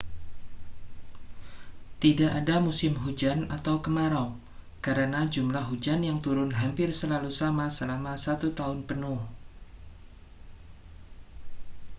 tidak ada musim hujan atau kemarau karena jumlah hujan yang turun hampir selalu sama selama satu tahun penuh